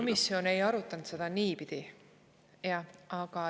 Komisjon ei arutanud seda niipidi.